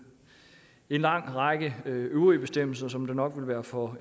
lang række øvrige bestemmelser men det vil nok være for